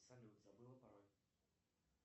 салют забыла пароль